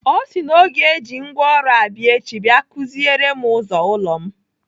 Ọ sị na ọ ga-eji ngwaọrụ abịa echi bia kụziere m ụzọ ụlọ m.